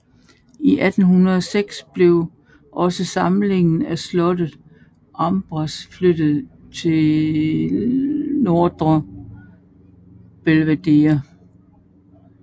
I 1806 blev også samlingen fra slottet Ambras flyttet til Nedre Belvedere